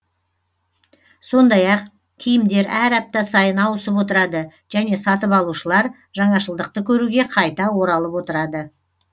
сондай ақ киімдер әр апта сайын ауысып отырады және сатып алушылар жаңашылдықты көруге қайта оралып отырады